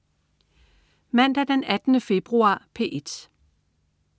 Mandag den 18. februar - P1: